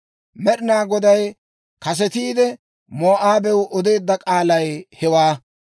Med'inaa Goday kasetiide, Moo'aabewaa odeedda k'aalay hewaa.